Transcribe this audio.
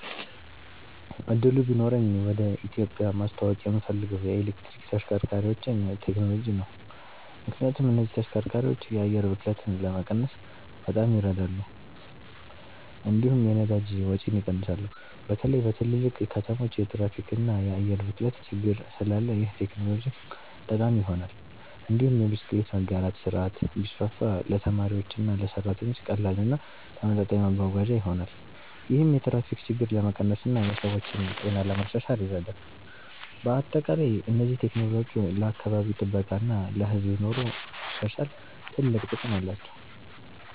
እድሉ ቢኖረኝ ወደ ኢትዮጵያ ማስተዋወቅ የምፈልገው የኤሌክትሪክ ተሽከርካሪዎችን ቴክኖሎጂ ነው። ምክንያቱም እነዚህ ተሽከርካሪዎች የአየር ብክለትን ለመቀነስ በጣም ይረዳሉ፣ እንዲሁም የነዳጅ ወጪን ይቀንሳሉ። በተለይ በትልልቅ ከተሞች የትራፊክ እና የአየር ብክለት ችግር ስላለ ይህ ቴክኖሎጂ ጠቃሚ ይሆናል። እንዲሁም የብስክሌት መጋራት ስርዓት ቢስፋፋ ለተማሪዎችና ለሰራተኞች ቀላል እና ተመጣጣኝ መጓጓዣ ይሆናል። ይህም የትራፊክ ችግርን ለመቀነስ እና የሰዎችን ጤና ለማሻሻል ይረዳል። በአጠቃላይ እነዚህ ቴክኖሎጂዎች ለአካባቢ ጥበቃ እና ለህዝብ ኑሮ ማሻሻል ትልቅ ጥቅም አላቸው።